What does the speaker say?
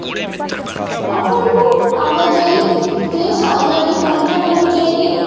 ਆਪਾ ਨੂੰ ਆਵਾਜਾਈ ਦੇ ਸਾਧਨਾ ਦੀ ਪਾਲਣਾ ਕਰਨੀ ਚਾਹੀਦੀ ਹੈ